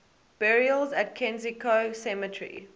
burials at kensico cemetery